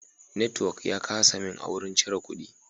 Network ya kasa min a wajen cire kudi.